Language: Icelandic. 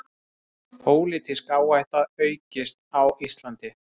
Pólitísk áhætta aukist á Íslandi